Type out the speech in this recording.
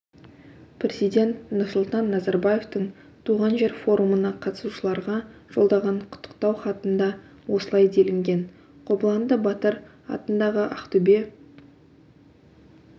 президент нұрсұлтан назарбаевтың туған жер форумына қатысушыларға жолдаған құттықтау хатында осылай делінген қобыланды батыр атындағы ақтөбе